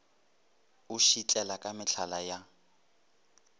o šitlela ka mehlala ya